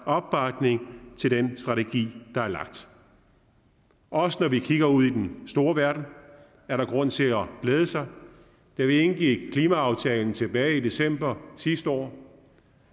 opbakning til den strategi der er lagt også når vi kigger ud i den store verden er der grund til at glæde sig da vi indgik klimaaftalen tilbage i december sidste år